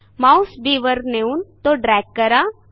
Mouse Bवर नेऊन तो ड्रॅग करा